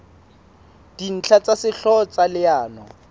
dintlha tsa sehlooho tsa leano